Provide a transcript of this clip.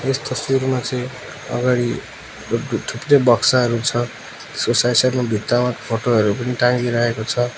यस तस्बिरमा चाहिँ अगाडि थुप्रै बक्साहरू छ यसको साइड साइड मा भित्तामा फोटो हरू पनि टाङ्गिरहेको छ।